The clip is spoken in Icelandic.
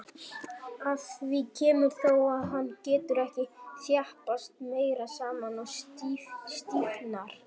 Að því kemur þó, að hann getur ekki þjappast meira saman og stífnar.